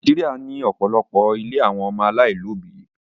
Nàìjíríà ní òpòlopo ílé àwọn ọmọ alailòbí